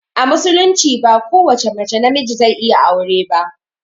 A musulunci ba ko wace mace na miji zai iya aure ba